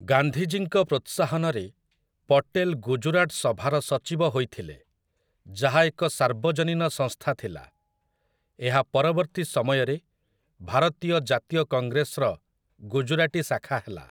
ଗାନ୍ଧିଜୀଙ୍କ ପ୍ରୋତ୍ସାହନରେ ପଟେଲ୍ ଗୁଜରାଟ ସଭାର ସଚିବ ହୋଇଥିଲେ, ଯାହା ଏକ ସାର୍ବଜନୀନ ସଂସ୍ଥା ଥିଲା । ଏହା ପରବର୍ତ୍ତୀ ସମୟରେ ଭାରତୀୟ ଜାତୀୟ କଂଗ୍ରେସର ଗୁଜରାଟୀ ଶାଖା ହେଲା ।